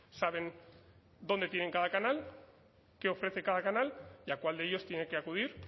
saben dónde tienen cada canal qué ofrece cada canal y a cuál de ellos tiene que acudir